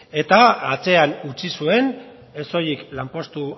eta atzean utzi zuen ez soilik lanpostu